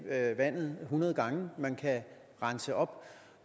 vandet hundrede gange man kan rense op